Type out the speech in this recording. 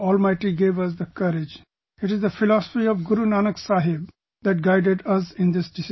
The almighty gave us the courage, it is the philosophy of Guru Nanak Saheb that guided us in this decision